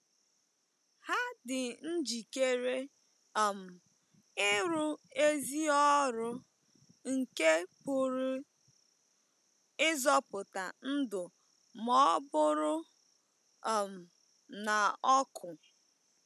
Ha dị njikere um ịrụ ezi ọrụ nke pụrụ ịzọpụta ndụ ma ọ bụrụ um na ọkụ.